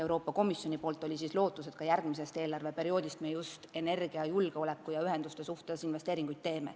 Euroopa Komisjon loodab, et me ka järgmise eelarveperioodi ajal teeme investeeringuid just energiajulgeoleku ja -ühenduste huvides.